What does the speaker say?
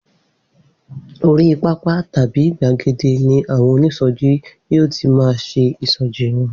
Orí pápá tàbí gbàgede ni àwọn onísọjí yóò ti máa ṣe ìṣọjí wọn.